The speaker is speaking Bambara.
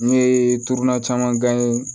N ye turan caman gan ye